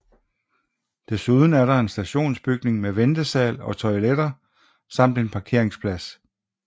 Desuden er der en stationsbygning med ventesal og toiletter samt en parkeringsplads